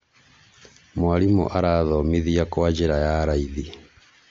mwarimũ arathomithia kwa njĩra ya raithi